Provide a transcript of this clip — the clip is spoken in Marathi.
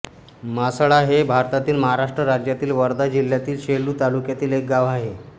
मासळा हे भारतातील महाराष्ट्र राज्यातील वर्धा जिल्ह्यातील सेलू तालुक्यातील एक गाव आहे